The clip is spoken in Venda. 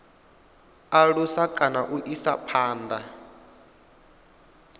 alusa kana u isa phanda